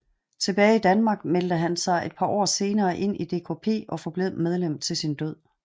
Tilbage i Danmark meldte han sig et par år senere ind i DKP og forblev medlem til sin død